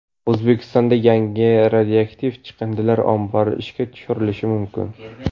O‘zbekistonda yangi radioaktiv chiqindilar ombori ishga tushirilishi mumkin.